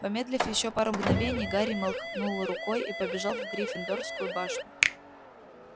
помедлив ещё пару мгновений гарри махнул рукой и побежал в гриффиндорскую башню